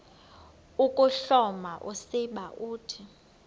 ukuhloma usiba uthi